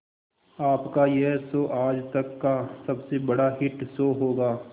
आपका यह शो आज तक का सबसे बड़ा हिट शो होगा